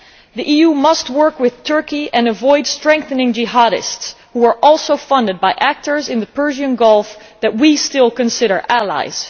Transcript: The EU must work with Turkey and avoid strengthening jihadists, who are also funded by actors in the Persian Gulf that we still consider allies.